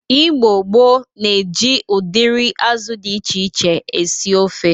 Igbo gboo na-eji ụdịrị azụ dị iche iche esi ofe.